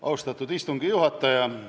Austatud istungi juhataja!